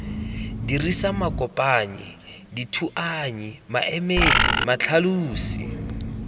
dirisa makopanyi dithuanyi maemedi matlhalosi